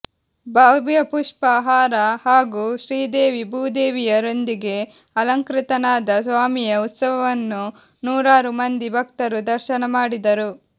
ಭವ್ಯಪುಷ್ಟಾ ಹಾರ ಹಾಗೂ ಶ್ರೀದೇವಿ ಭೂದೇವಿಯರೊಂದಿಗೆ ಅಲಂಕೃತನಾದ ಸ್ವಾಮಿಯ ಉತ್ಸವವನ್ನು ನೂರಾರು ಮಂದಿ ಭಕ್ತರು ದರ್ಶನಮಾಡಿದರು